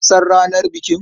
Ka san ranar bikin?